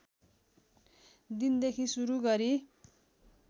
दिनदेखि सुरु गरी